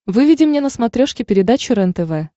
выведи мне на смотрешке передачу рентв